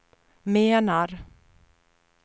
menar